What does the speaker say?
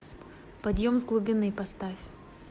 подъем с глубины поставь